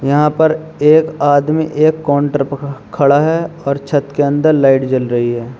यहाँ पर एक आदमी एक काउंटर पर खड़ा है और छत के अंदर लाइट जल रही है।